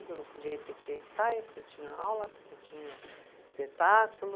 Eu não podia ir porque tinha ensaio, porque tinha aula, porque tinha espetáculo.